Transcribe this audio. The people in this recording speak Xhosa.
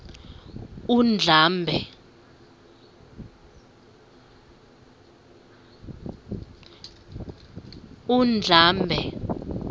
undlambe